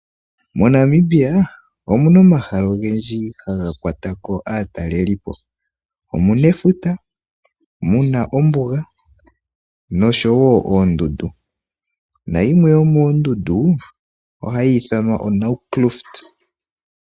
MoNamibia omuna omahala ogendji haga kwatako aataleli po, omu na efuta, mu na ombuga nosho wo oondundu. Na yimwe yo moondundu ohayi ithanwa oNaukluft.